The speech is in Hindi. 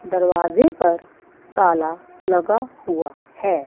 दरवाजे पर ताला लगा हुआ है।